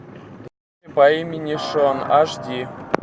по имени шон аш ди